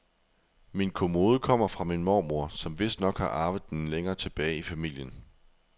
Min kommode kommer fra min mormor, som vistnok har arvet den længere tilbage i familien.